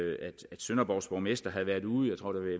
sønderborgs borgmester havde været ude i